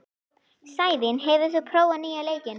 Sævin, hefur þú prófað nýja leikinn?